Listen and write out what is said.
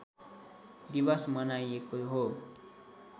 दिवस मनाइएको हो